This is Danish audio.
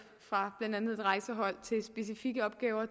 fra blandt andet et rejsehold